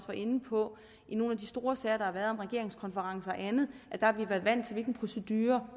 var inde på i nogle af de store sager der har været om en regeringskonference og andet har været vant til en procedure